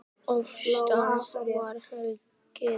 Þegar ég hætti henni keypti